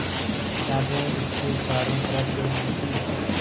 किताबें उसके चारों तरफ़ फैली थीं